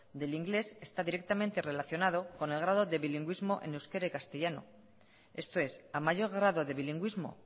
del inglés está directamente relacionado con el grado de bilingüismo en euskera y castellano esto es a mayor grado de bilingüismo